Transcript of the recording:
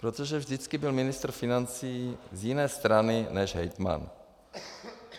Protože vždycky byl ministr financí z jiné strany než hejtman.